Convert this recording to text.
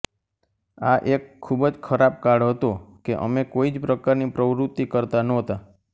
આ એક ખૂબ જ ખરાબ કાળ હતો કે અમે કોઇ જ પ્રકારની પ્રવૃત્તિ કરતા નહોતા